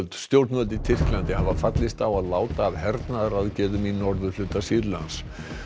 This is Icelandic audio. stjórnvöld í Tyrklandi hafa fallist á að láta af hernaðaraðgerðum í norðurhluta Sýrlands